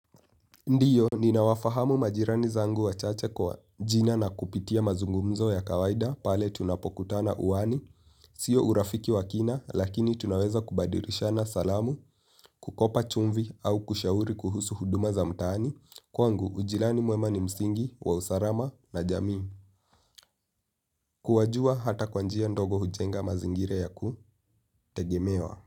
Ndiyo ni nawafahamu majirani zangu wa chache kwa jina na kupitia mazungumzo ya kawaida pale tunapokutana uani. Sio urafiki wa kina lakini tunaweza kubadirishana salamu, kukopa chumvi au kushauri kuhusu huduma za mtaani. Kwa ngu ujilani muemani msingi wa usarama na jamii. Kuwajua hata kwanjia ndogo hujenga mazingira ya ku tegemewa.